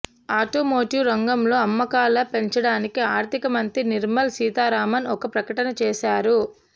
automotive రంగంలో అమ్మకాల పెంచడానికి ఆర్థిక మంత్రి నిర్మల్ సితారామన్ ఒక ప్రకటన చేసారు